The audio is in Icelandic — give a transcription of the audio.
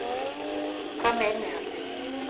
Hvað með innihaldið?